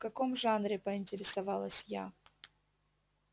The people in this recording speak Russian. в каком жанре поинтересовалась я